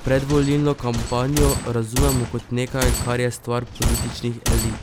Predvolilno kampanjo razumemo kot nekaj, kar je stvar političnih elit!